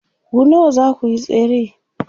ku nawa zakuyi tsere?